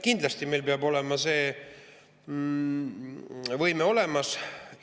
Kindlasti meil peab see võime olemas olema.